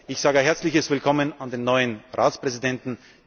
nötig. Ich sage ein herzliches Willkommen an den neuen Ratspräsidenten.